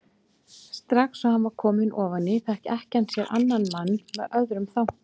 Strax og hann var kominn ofan í fékk ekkjan sér annan mann með öðrum þanka.